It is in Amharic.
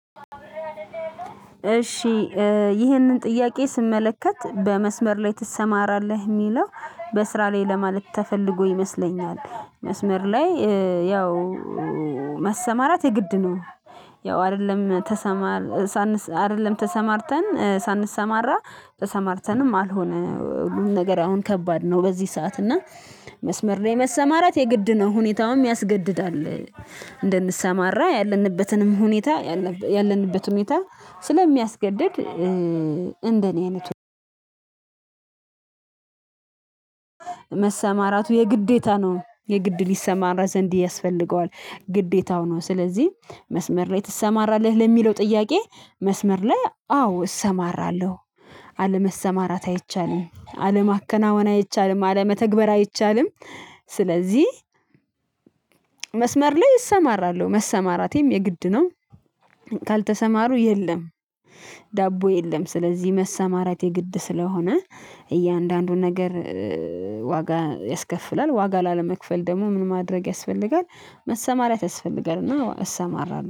እሺ ይህንን ጥያቄ ስመለከት በመስመር ላይ ትሰማራለህ የሚለው በስራ ላይ ለማለት ተፈልጎ ይመስለኛል መስመር ላይ ያው መሰማራት የግድ ነው። ያው አይደለም ተሰማር ሳን አይደለም ተሰማርተን ሳንሰማራ ተሰማርተንም አልሆነ ሁሉን ነገር አሁን ከባድ ነው በዚህ ሰዓት እና መስመር ነው መሰማራት የግድ ነው ሁኔታውን ያስገድዳል። እንድንሰማራ ያለንበትንም ሁኔታ ያለንበት ሁኔታ ስለሚያስገድድ። እንደኔ አይነት መሰማራቱ የግዴታ ነው የግድ ሊሰማራ ዘንድ ያስፈልገዋል ግዴታው ነው። ስለዚህ መስመር ላይ ትሰማራለህ ለሚለው ጥያቄ? መስመር ላይ አዎ እሰማራለሁ አለመሰማራት አይቻልም አለማከናወን አይቻልም አለመተግበር አይቻልም። ስለዚህ መስመር ላይ እሰማራለሁ መሰማራቴም የግድ ነው። ካልተሰማሩ የለም። ዳቦ የለም ስለዚህ መሰማራት የግድ ስለሆነ እያንዳንዱን ነገር ዋጋ ያስከፍላል ዋጋ ላለመክፈል ደግሞ ምን ማድረግ ያስፈልጋል? መሰማራት ያስፈልጋል እና እሰማራለሁ